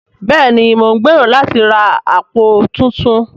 Bẹ́ẹ̀ni mo ń gbèrò láti ra àpò tuntun